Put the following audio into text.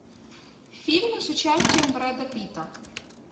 фильмы с участием брэда питта